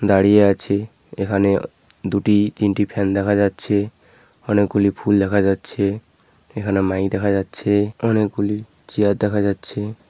দাঁড়িয়ে আছি এখানে দুটি তিনটি ফ্যান দেখা যাচ্ছে অনেকগুলি ফুল দেখা যাচ্ছে এখানে মাইক দেখা যাচ্ছে অনেকগুলি চেয়ার দেখা যাচ্ছে ।